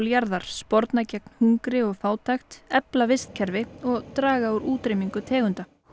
jarðar sporna gegn hungri og fátækt efla vistkerfi og draga úr útrýmingu tegunda